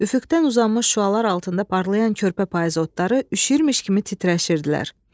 Üfüqdən uzanmış şüalar altında parlayan körpə payız otları üşüyürmüş kimi titrəşirdilər.